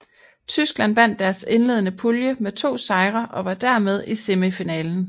Tyskland vandt deres indledende pulje med to sejre og var dermed i semifinalen